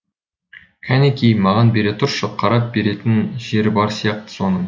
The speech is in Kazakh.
кәнекей маған бере тұршы қарап беретін жері бар сияқты соның